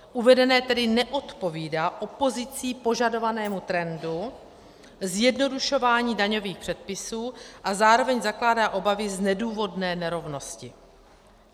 Uvedené tedy neodpovídá opozicí požadovanému trendu zjednodušování daňových předpisů a zároveň zakládá obavy z nedůvodné nerovnosti.